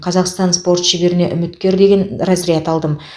қазақстан спорт шеберіне үміткер деген разряд алдым